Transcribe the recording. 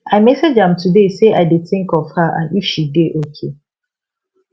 i message am today say i dey think of her and if she dey okay